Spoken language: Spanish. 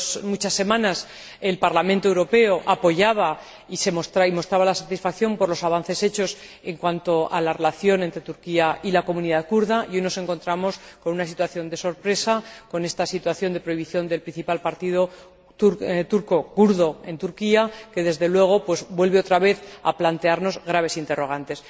muchas semanas, el Parlamento Europeo apoyaba y mostraba su satisfacción por los avances realizados en cuanto a la relación entre Turquía y la comunidad kurda y hoy nos encontramos con una situación de sorpresa, con esta situación de prohibición del principal partido kurdo en Turquía, que, desde luego, vuelve otra vez a plantearnos graves interrogantes.